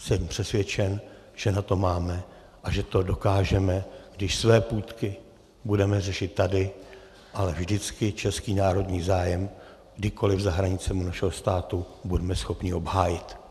Jsem přesvědčen, že na to máme a že to dokážeme, když své půtky budeme řešit tady, ale vždycky český národní zájem kdekoliv za hranicemi našeho státu budeme schopni obhájit.